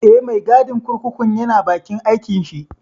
Eh, mai gadin kurkukun ya na bakin aikin shi